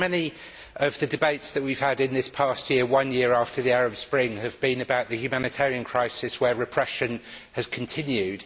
So many of the debates that we have had in this past year, one year after the Arab Spring, have been about the humanitarian crisis where repression has continued.